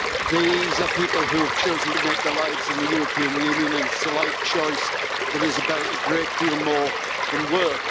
These are people who have chosen to make their lives in the European Union, and it is a life choice that is about a great deal more than work.